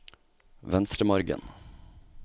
Venstremargen